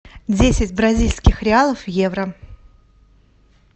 десять бразильских реалов в евро